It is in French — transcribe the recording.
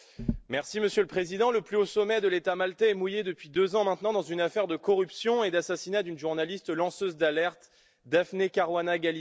Monsieur le Président, le plus haut sommet de l'État maltais est mouillé, depuis deux ans maintenant, dans une affaire de corruption et d'assassinat d'une journaliste lanceuse d'alerte, Daphne Caruana Galizia.